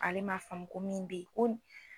Ale man faamu ko min bɛ ye